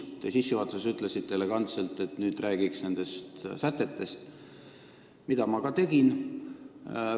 Te sissejuhatuses ütlesite elegantselt, et räägiks nüüd eelnõu sätetest, mida ma ka tegin.